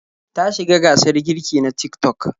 Ta shiga gasar girki na Tik-tok.